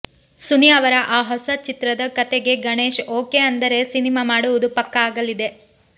ಸುನಿ ಅವರ ಆ ಹೊಸ ಚಿತ್ರದ ಕಥೆಗೆ ಗಣೇಶ್ ಓಕೆ ಅಂದರೆ ಸಿನಿಮಾ ಮಾಡುವುದು ಪಕ್ಕಾ ಆಗಲಿದೆ